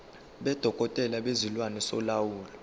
sodokotela bezilwane solawulo